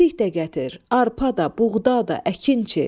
Çəltik də gətir, arpa da, buğda da, əkinçi.